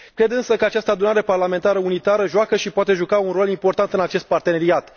Cred, încă, că această Adunare Parlamentară Unitară joacă și poate juca un rol important în acest parteneriat.